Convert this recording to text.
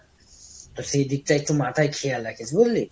তো সেই দিকটা একটু মাথায় খেয়াল রাখিস বুঝলি?